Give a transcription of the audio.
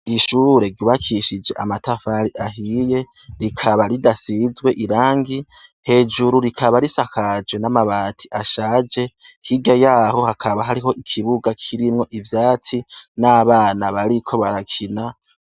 Ishure ryubakishij' amatafar'ahiye, rikaba ridasizwe irangi , hejuru rikaba risakajwe n' amabat' ashaje hirya yayo hakab' ikibuga kimw' ivyatsi n' abana bariko barakina.